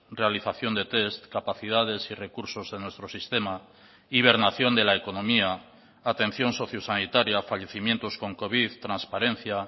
realización de test capacidades y recursos de nuestro sistema hibernación de la economía atención sociosanitaria fallecimientos con covid transparencia